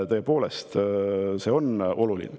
Tõepoolest, see on oluline.